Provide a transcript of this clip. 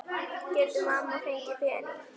Getur mamma fengið pening?